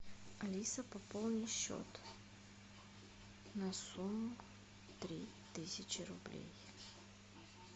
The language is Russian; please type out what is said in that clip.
алиса пополни счет на сумму три тысячи рублей